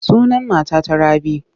Sunan matata Rabi.